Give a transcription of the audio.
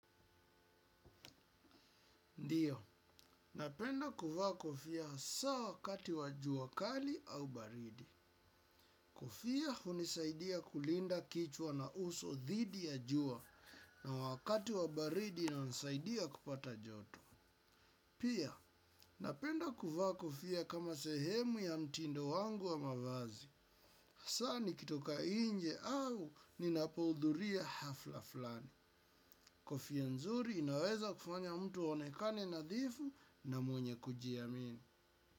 Ndiyo, napenda kuvaa kofia hasaa wakati wa jua kali au baridi. Kofia hunisaidia kulinda kichwa na uso dhidi ya jua na wakati wa baridi inanisaidia kupata joto. Pia, napenda kuvaa kofia kama sehemu ya mtindo wangu wa mavazi. Asaa nikitoka inje au ninapohudhuria hafla flani. Kofia nzuri inaweza kufanya mtu aonekane nadhifu na mwenye kujiamini.